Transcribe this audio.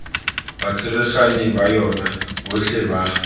batsereganyi ba yona botlhe ba